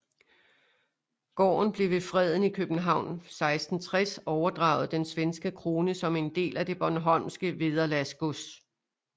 Gården blev ved freden i København 1660 overdraget den svenske krone som en del af det bornholmske vederlagsgods